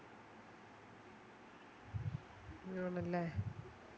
ആണല്ലേ